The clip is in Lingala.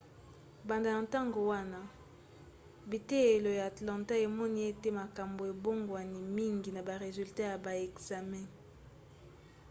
banda na ntango wana biteyelo ya atlanta emoni ete makambo ebongwani mingi na ba resulat ya ba ekzame